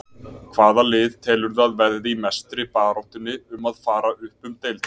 Hvaða lið telurðu að verði í mestu baráttunni um að fara upp um deild?